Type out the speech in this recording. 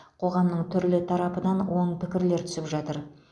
қоғамның түрлі тарапынан оң пікірлер түсіп жатыр